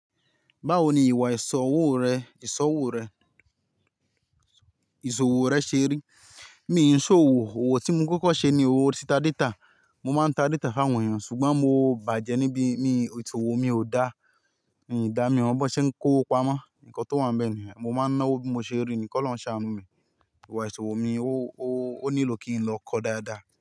Báwo ni ìwà ìsòwò rẹ, ìsòwò rẹ, ìsòwò rẹ ṣe rí? Mi ò ń sọ òwò, òwò tí mo kọ́kọ́ ṣe ni òwò títá dítà. Mo máa ń ta data fún àwọn èèyàn ṣùgbọ́n mo bàjẹ́ níbí, mi, isòwò mi ò dá, mi í dá mi mọ bọn ṣe ń kó wọnó pamọ́. Ǹkan tó wà nbẹ̀ nìyẹn mo máa ń ná owó bí mo ṣe rí ni kọlọhun ṣàánú mi. Ìwà isòwò mi, ó, ó, ó nílò kí n lọ kọ́ dáadáa.